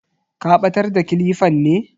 Ka batar da kilifan ne?